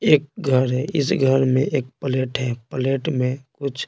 एक घर है इस घर में एक प्लेट है प्लेट में कुछ --